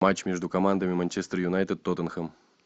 матч между командами манчестер юнайтед тоттенхэм